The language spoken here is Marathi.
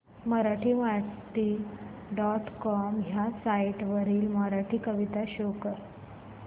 मराठीमाती डॉट कॉम ह्या साइट वरील मराठी कविता शो कर